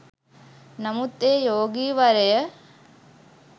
නමුත් ඒ යෝගී වරය